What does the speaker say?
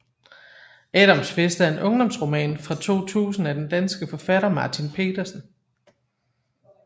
Adams fest er en ungdomsroman fra 2000 af den danske forfatter Martin Petersen